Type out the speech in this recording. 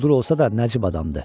Quldur olsa da nəcib adamdır.